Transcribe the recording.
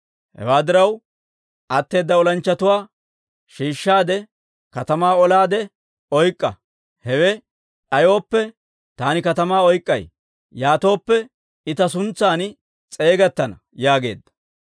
Hewaa diraw, atteeda olanchchatuwaa shiishshaade katamaa olaade oyk'k'a. Hewe d'ayooppe, taani katamaa oyk'k'ay. Yaatooppe, I ta suntsan s'eegettana» yaageedda.